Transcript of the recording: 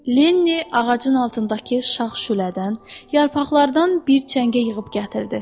Linni ağacın altındakı şax-şülədən, yarpaqlardan bir çəngə yığıb gətirdi.